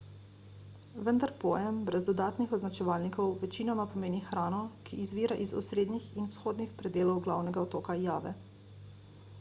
vendar pojem brez dodatnih označevalnikov večinoma pomeni hrano ki izvira iz osrednjih in vzhodnih predelov glavnega otoka jave